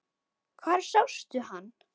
Hvar sástu hann?